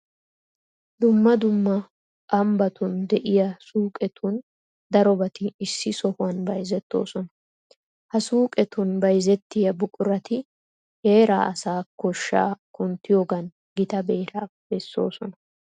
Dumma dumma ambbatun de'iya suuqetun darobati issi sohuwan bayzettoosona. Ha suuqetun bayzettiya buqurati heeraa asaa koshshaa kunttiyogan gita beeraa bessoosona.